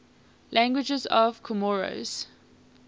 languages of comoros